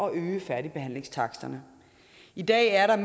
at øge færdigbehandlingstaksten i dag er